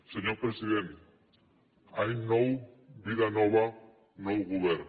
senyor president any nou vida nova nou govern